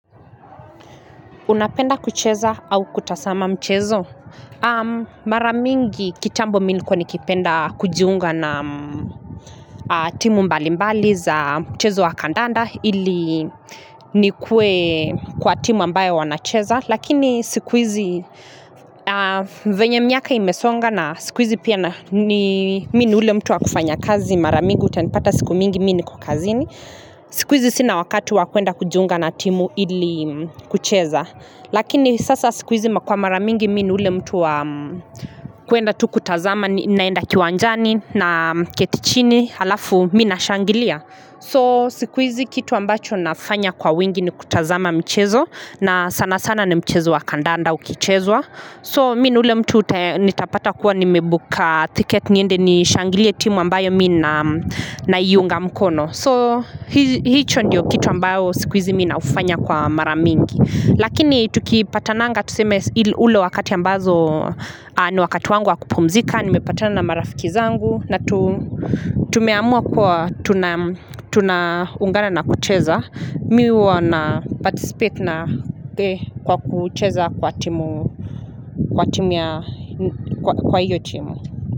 Unapenda kucheza au kutazama mchezo. Mara mingi kitambo mimi nilikuwa nikipenda kujiunga na timu mbalimbali za mchezo wa kandanda ili nikue kwa timu ambayo wanacheza. Lakini siku hizi venye miaka imesonga na siku hizi pia ni mimi ni ule mtu wa kufanya kazi mara mingi utanipata siku mingi mimi niko kazini. Siku hizi sina wakati wakuenda kujiunga na timu ili kucheza. Lakini sasa siku hizi kwa maramingi mimi ni ule mtu wa kuenda tu kutazama ninaenda kiwanjani naketi chini alafu mimi nashangilia So siku hizi kitu ambacho nafanya kwa wingi ni kutazama michezo na sana sana ni mchezo wa kandanda ukichezwa So mimi ni ule mtu nitapata kuwa nimebook ticket niende nishangilie timu ambayo mimi na naiunga mkono So hicho ndiyo kitu ambayo siku hizi mimi naufanya kwa maramingi Lakini tukipata nanga tuseme ule wakati ambazo ni wakati wangu wa kupumzika, nimepata na marafiki zangu na tumeamua kuwa tunaungana na kucheza. Mimi huwa na participate na kwa kucheza kwa timu ya kwa hiyo timu.